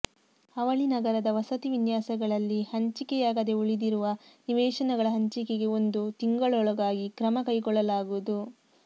ಅವಳಿ ನಗರದ ವಸತಿ ವಿನ್ಯಾಸಗಳಲ್ಲಿ ಹಂಚಿಕೆಯಾಗದೇ ಉಳಿದಿರುವ ನಿವೇಶನಗಳ ಹಂಚಿಕೆಗೆ ಒಂದು ತಿಂಗಳೊಳಗಾಗಿ ಕ್ರಮ ಕೈಗೊಳ್ಳಲಾಗುವುದು